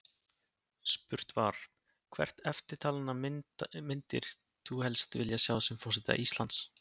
Spurt var: Hvert eftirtalinna myndir þú helst vilja sjá sem forseta Íslands?